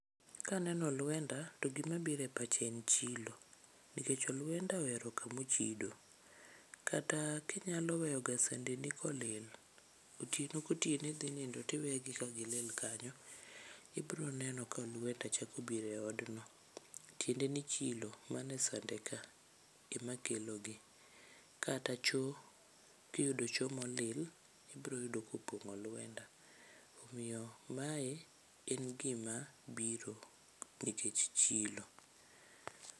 Kaneno olwenda to gima bire pacha en chilo. Nikech olwenda ohero kamochido. Kata kinyaloweyoga sandeni kolil, otieno ko tieno idhi nindo tiwegi ka gilil kanyo, ibro neno kolwenda chako biro e odno. Tiende ni chilo manesande ka em kelogi. Kata cho, kiyudo cho molil, ibroyudo kopong'o olwenda. Omiyo mae en gima biro nikech chilo.